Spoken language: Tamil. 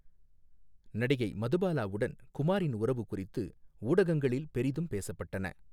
நடிகை மதுபாலாவுடன் குமாரின் உறவு குறித்து ஊடகங்களில் பெரிதும் பேசப்பட்டன.